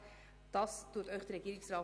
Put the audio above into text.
Das beantragt Ihnen der Regierungsrat.